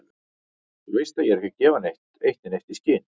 Þú veist ég er ekki að gefa eitt né neitt í skyn.